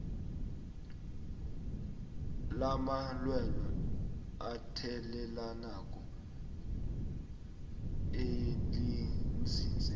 lamalwelwe athelelanako elinzinze